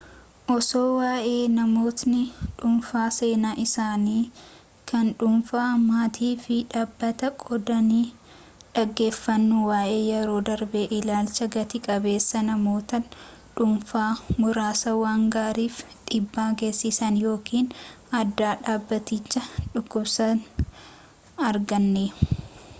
osoo waa’ee namootni dhuunfaa seenaa isaanii kan dhuunfaa maatii fi dhabbataa qoodani dhaggeeffannu waa’ee yeroo darbee ilaalcha gati-qabeessaa namoota dhuunfa muraasa waan gaariif dhiibbaa geessisan yookiin aadaa dhaabbaticha dhukkubsan arganne